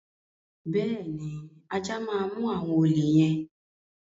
Bẹ́ẹ̀ ni, ajá máa mú àwọn olè yẹn.